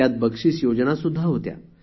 त्यात बक्षीस योजना सुद्धा होती